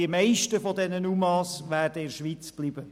Die meisten dieser UMA werden in der Schweiz bleiben.